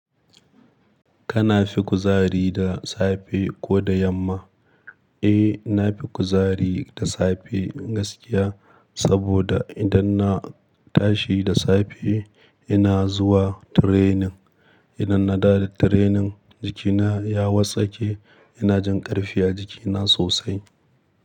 Kana fi kuzari da safe ko da yamma? Eh, na fi kuzari da safe gaskiya. Saboda idan na tashi da safe, ina zuwa training. Idan na dawo da training, jikina ya wartsake, ina jin ƙarfi a jikina sosai.